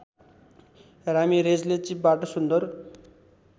रामिरेजले चिपबाट सुन्दर